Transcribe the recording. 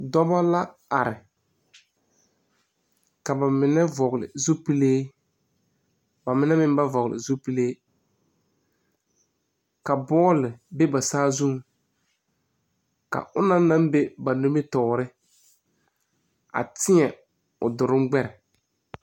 Dɔbɔ la are ka ba mine vɔgle zupile ba mine meŋ ba vɔgle zupile ka bɔɔle be ba saazuŋ ka onɔng naŋ be ba nimitoore a tēɛ o duruŋ gbɛre.